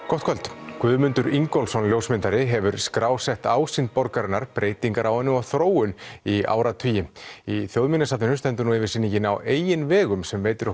gott kvöld Guðmundur Ingólfsson ljósmyndari hefur skrásett ásýnd borgarinnar breytingar á henni og þróun í áratugi í Þjóðminjasafninu stendur nú yfir sýningin á eigin vegum sem veitir